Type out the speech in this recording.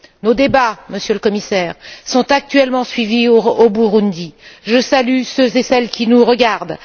Nos débats, Monsieur le Commissaire, sont actuellement suivis au Burundi. Je salue ceux et celles qui nous regardent.